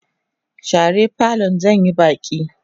share falon zan Yi Baki!